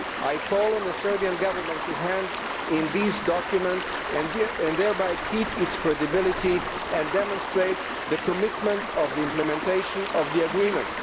I call on the Serbian Government to hand in these documents and thereby keep its credibility and demonstrate its commitment to implementation of the agreement.